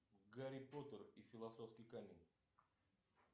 гарри поттер и философский камень